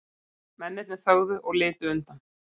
Mennirnir þögðu og litu undan.